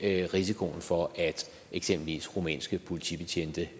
risikoen for at eksempelvis rumænske politibetjente